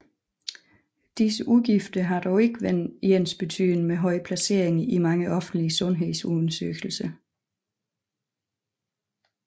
Disse udgifter har dog ikke været ensbetydende med høje placeringer i mange offentlige sundhedsundersøgelser